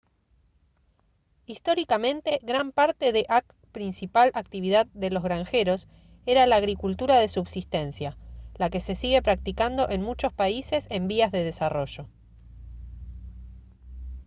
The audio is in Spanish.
históricamente gran parte de ac principal actividad de los granjeros era la agricultura de subsistencia la que se sigue practicando en muchos países en vías de desarrollo